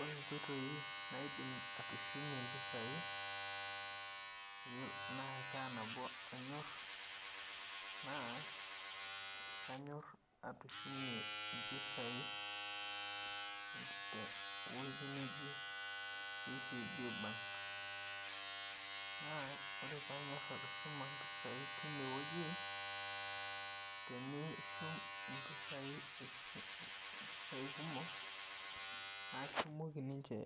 Ore inkoitoi naidim atushumie impisai naa kaa nabo anyor naa anyor atushumie impisai te wueji neji KCB Bank naa ore paanyor atushuma impisai tine wueji naa tinishum impisai kumok naa kitumoki ninche